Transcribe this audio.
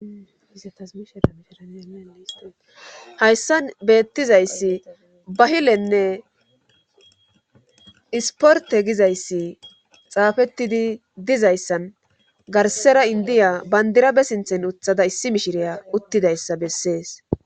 hayssan beettizayssi bahilenne isporte gizayssi xaafettidi dizayssan garsera indiya bandirabe sinthen uthada issi mishiriya uttidayssa bessees